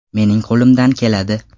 Mening qo‘limdan keladi!